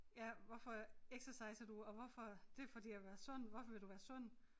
Ja hvorfor exerciser du og hvorfor det fordi jeg vil være sund hvorfor vil du være sund